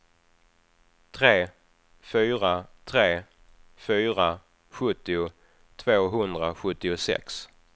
tre fyra tre fyra sjuttio tvåhundrasjuttiosex